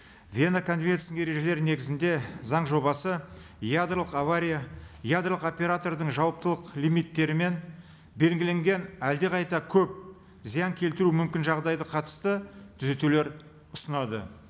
вена конвенциясының ережелері негізінде заң жобасы ядролық авария ядролық оператордың жауаптылық лимиттері мен белгіленген әлдеқайда көп зиян келтіру мүмкін жағдайға қатысты түзетулер ұсынады